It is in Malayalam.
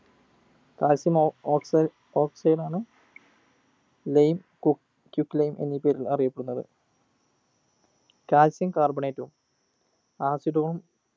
calcium ഒ oxide oxide ആണ് lime cook quicklime എന്നീ പേരിൽ അറിയപ്പെടുന്നത് calcium carbonate ഉം acid ഉം